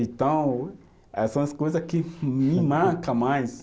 Então, aí são as coisa que me marca mais.